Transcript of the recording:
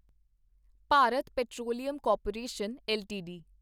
Bharat petroleum corporation LTD